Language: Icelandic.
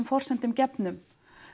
forsendum gefnum